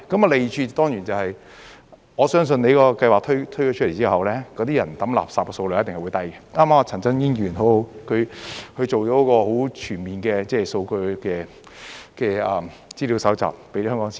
利處當然是，我相信你的計劃推出後，市民掉垃圾的數量一定會減低，剛剛陳振英議員很好，他做了一個很全面的數據資料搜集，告訴香港市民。